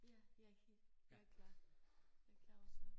Ja jeg jeg klar jeg klar også